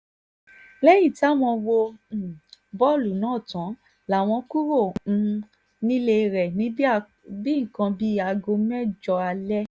lẹ́yìn táwọn wo um bọ́ọ̀lù náà tán láwọn kúrò um nílé rẹ̀ ní nǹkan bíi aago mẹ́jọ alẹ́